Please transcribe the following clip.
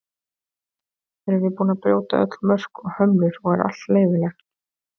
Erum við búin að brjóta öll mörk og hömlur og er allt leyfilegt?